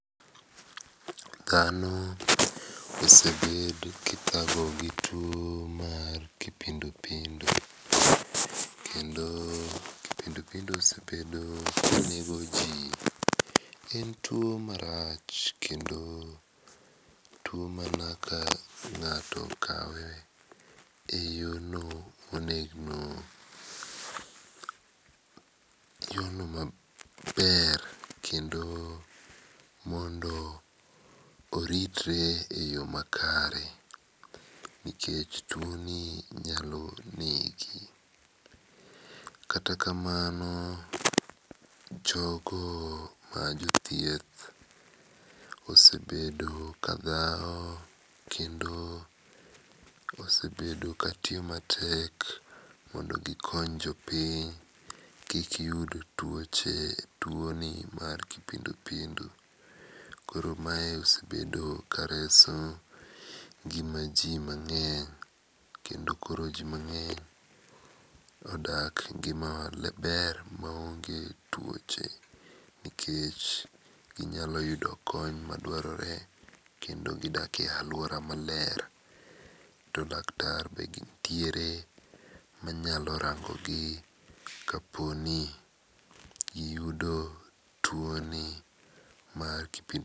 Dhano osebedo kithago gi tuo mar kipindu pindu, kendo kipindu pindu osebedo ka negoji. En tuo marach kendo tuo ma ka ng'ato okawe eyono monegno maber kendo mondo oritre eyo makare, nikech tuoni nyalo negi. Kata kamano jogo ma jothieth osebedo ka ka dhaw kendo mosebedo katiyo matek mondo gikony jopiny kik yud tuoche tuoni mar kipindu pindu koro mae osebedo kareso ngima ji mang'eny. Kendo koro ji mang'eny odak e ngima maber maonge tuoche nikech ginyalo yudo kony madwarore to kendo gidak e aluora maler to daktar be nitiere ma nyalo rangogi kaponi giyudo tuomni mar kipindu pindu.